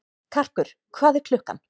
Karkur, hvað er klukkan?